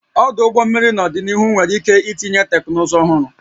Ọdụ ụgbọ mmiri n'ọdịnihu nwere ike itinye teknụzụ ọhụrụ